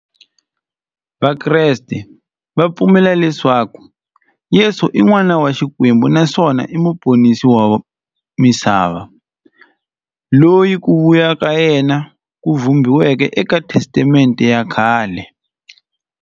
Vakreste va pfumela leswaku Yesu i n'wana wa Xikwembu naswona i muponisi wa misava, loyi ku vuya ka yena ku vhumbiweke eka Testamente ya khale.